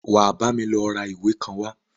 Wà á bámi lọ ra ìwé kan wá!